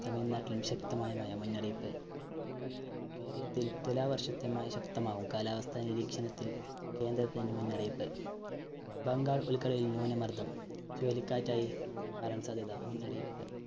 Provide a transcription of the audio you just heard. തമിഴ്നാട്ടിലും ശക്തമായ മഴ മുന്നറിയിപ്പ് കേരളത്തില്‍ തുലാവര്‍ഷത്തെ മഴ ശക്തമാകും. കാലാവസ്ഥ നിരീക്ഷണത്തില്‍ കേന്ദ്രത്തിന്റെ മുന്നറിയിപ്പ്. ബംഗാള്‍ ഉള്‍ക്കടലില്‍ ന്യൂനമര്‍ദ്ദം ചുഴലിക്കാറ്റായി മാറാന്‍ സാധ്യത മുന്നറിയിപ്പ്.